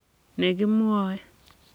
ne kimwae